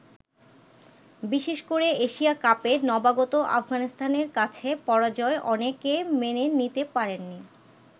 বিশেষ করে এশিয়া কাপে নবাগত আফগানিস্তানের কাছে পরাজয় অনেকে মেনে নিতে পারেননি।